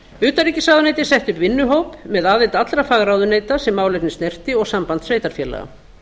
utanríkisráðuneytið setti upp vinnuhóp með aðild allra fagráðuneyta sem málefnið snerti og samband sveitarfélaga